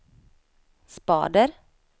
spader